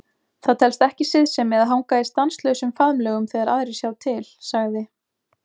Það telst ekki siðsemi að hanga í stanslausum faðmlögum þegar aðrir sjá til, sagði